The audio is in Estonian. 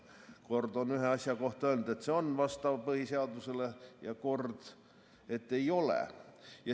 Kord on ühe asja kohta öeldud, et see on põhiseadusele vastav, ja kord, et ei ole.